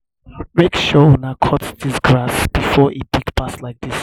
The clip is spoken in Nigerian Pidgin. make sure una cut dis grass before e big pass like dis